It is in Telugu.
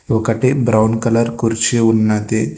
ఒకటీ బ్రౌన్ కలర్ కుర్చీ ఉన్నది.